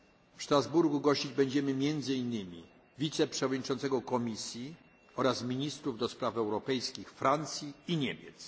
W Strasburgu będziemy gościć między innymi wiceprzewodniczącego Komisji oraz ministrów do spraw europejskich Francji i Niemiec.